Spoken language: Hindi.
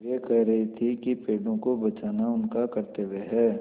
वे कह रहे थे कि पेड़ों को बचाना उनका कर्त्तव्य है